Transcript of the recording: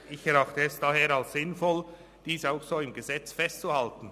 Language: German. Daher erachte es ich als sinnvoll, dies auch so im Gesetz festzuhalten.